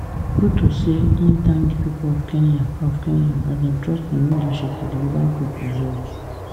ruto say im thank di pipo of kenya of kenya as dem trust im leadership to deliver good results